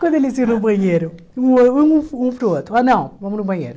Quando eles iam no banheiro, um ah um um para o outro, anão, vamos no banheiro.